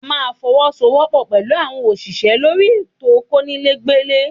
A máa fọwọ́ sọ wọ́pọ̀ pẹ̀lú àwọn òṣìṣẹ́ lórí ètò konile ó gbé ilé